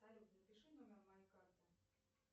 салют напиши номер моей карты